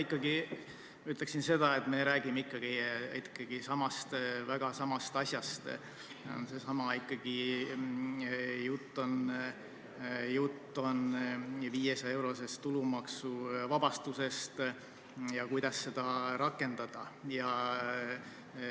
Kõigepealt ütleksin seda, et me räägime ikkagi väga samast asjast, see on ikkagi seesama, jutt on 500-eurosest tulumaksuvabastusest ja sellest, kuidas seda rakendada.